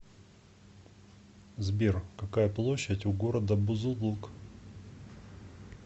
сбер какая площадь у города бузулук